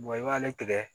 i b'ale tigɛ